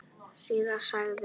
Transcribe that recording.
Síðan sagði hann